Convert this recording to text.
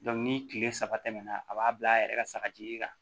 ni kile saba tɛmɛna a b'a bila a yɛrɛ ka sagaji kan